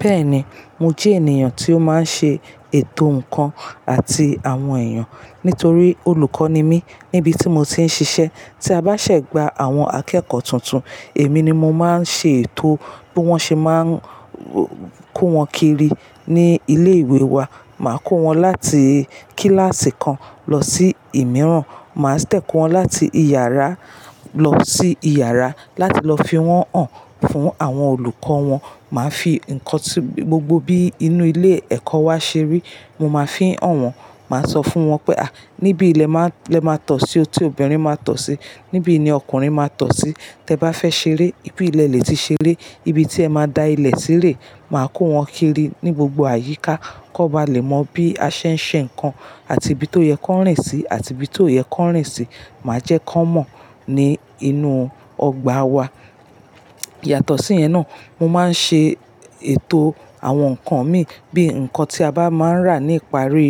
Bẹ́ẹ̀ni, mo jẹ́ ènìyàn tí ó máa ń ṣe ètò ǹkan àti àwọn èèyàn nítorí olùkọ́ ni mí níbi tí mo ti ń ṣiṣẹ́. Tí a bá ṣẹ̀gbà àwọn akẹ́kọ̀ọ́ tuntun, èmi ni mo máa ń ṣe ètò bí wọ́n ṣe máa ń kó wọn kiri ní ilé ìwé wa. Máa kó wọn láti kíláàsì kan lọ sí ìmíràn. Máa tẹ̀kọ́ wọn láti ìyàrá lọ sí ìyàrá láti lọ fi wọ́n hàn fún àwọn olùkọ́ wọn. Màá fi ǹkan tí gbogbo bí inú ilé ẹ̀kọ́ wa ṣe rí, mo máa fi hàn wọ́n. Màá sọ fún wọn pé, "à, níbi lẹ máa, lẹ máa tọ̀ sí ọtí obìnrin máa tọ̀ sí, níbi ni ọkùnrin máa tọ̀ sí. Tẹ bá fẹ́ ṣeré, ibi ilẹ̀ lè ti ṣeré, ibi tí ẹ máa da ilẹ̀ sírẹ̀." Màá kó wọn kiri ní gbogbo àyíká kí wọ́n bá lè mọ bí a ṣe ń ṣe ǹkan àti ibi tó yẹ kó rìn sí àti ibi tó yẹ kó rìn sí. Màá jẹ́ kó mọ̀ ní inú ọgbà wa. Yàtọ̀ sí yẹn náà, mo máa ń ṣe ètò àwọn ǹkan mi. Bí ǹkan tí a bá máa ń rà ní ìparí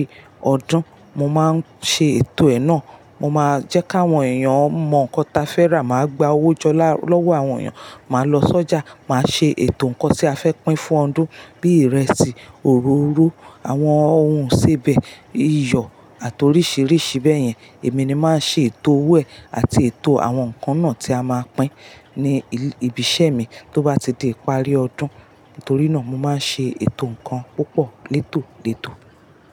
ọdún, mo máa ń ṣe ètò ẹ náà. Mo máa jẹ́ kí àwọn èèyàn mọ ǹkan ta fẹ́ rà, màá gba owó jọ lọ́wọ́ àwọn èèyàn, màá lọ sọ́jà, màá ṣe ètò ǹkan tí a fẹ́ pín fún ọdún bí ìrẹsì, òróró, àwọn ohun sèbẹ̀, iyọ̀ àti oríṣìíríṣìí bẹ́ẹ̀ yẹn. Èmi ni màá ṣe ètò ọwọ́ ẹ àti ètò àwọn ǹkan náà tí a máa pín ní ibi iṣẹ́ mi tó bá ti di ìparí ọdún. Nítorí náà mo máa ń ṣe ètò ǹkan púpọ̀ létò létò.